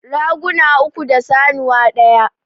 Raguna uku da sanuwa ɗaya